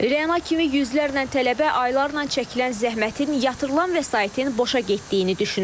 Reana kimi yüzlərlə tələbə aylarla çəkilən zəhmətin, yatırılan vəsaitin boşa getdiyini düşünür.